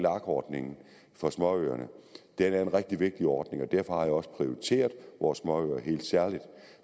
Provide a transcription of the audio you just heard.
ordningen for småøerne at det er en rigtig vigtig ordning og derfor har jeg også prioriteret vores småøer helt særligt